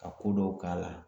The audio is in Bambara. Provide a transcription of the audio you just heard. Ka ko dɔw k'a la.